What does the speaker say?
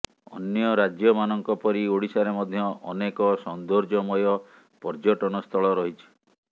ଅନ୍ୟ ରାଜ୍ୟମାନଙ୍କ ପରି ଓଡ଼ିଶାରେ ମଧ୍ୟ ଅନେକ ସୌନ୍ଦର୍ଯ୍ୟମୟ ପର୍ଯ୍ୟଟନସ୍ଥଳ ରହିଛି